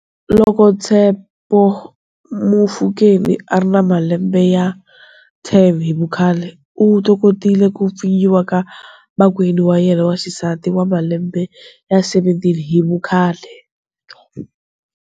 Loko Tshepo Mofokeng a ri na malembe ya 10 hi vukhale, u tokotile ku pfinyiwa ka makwenu wa yena wa xisati wa malembe ya 17 hi vukhale.